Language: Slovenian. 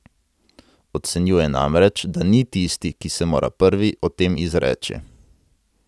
Ocenjuje namreč, da ni tisti, ki se mora prvi o tem izreči.